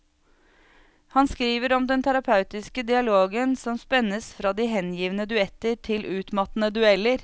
Han skriver om den terapeutiske dialogen som spennes fra de hengivne duetter til utmattende dueller.